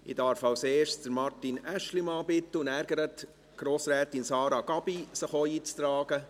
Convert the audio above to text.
Ich darf zuerst Martin Aeschlimann und danach Sarah Gabi bitten, sich in die Rednerliste einzutragen.